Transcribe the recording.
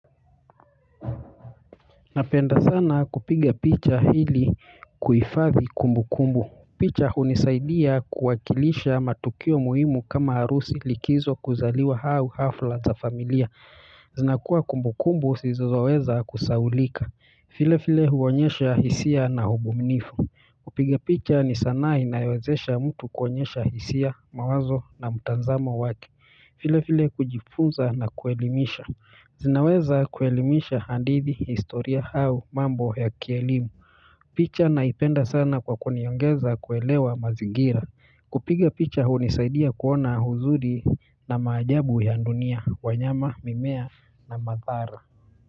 Napenda sana kupiga picha ili kuhifadhi kumbu kumbu. Picha hunisaidia kuwakilisha matukio muhimu kama arusi likizo kuzaliwa au afla za familia. Zinakuwa kumbu kumbu zisizo weza kusahaulika. Vile vile huonyesha hisia na ubunifu. Kupiga picha ni sanaa inayowezesha mtu kuonyesha hisia mawazo na mtazamo wake. Vile vile kujifunza na kuelimisha. Zinaweza kuelimisha hadithi historia au mambo ya kielimu picha naipenda sana kwa kuniongeza kuelewa mazingira kupiga picha hunisaidia kuona uzuri na maajabu ya dunia wanyama mimea na mathara.